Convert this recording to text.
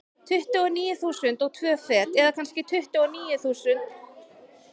Tuttugu og níu þúsund og tvö fet, eða kannski tuttugu og níu eitt fjögur eitt.